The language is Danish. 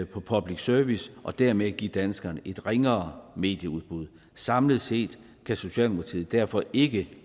på public service og dermed give danskerne et ringere medieudbud samlet set kan socialdemokratiet derfor ikke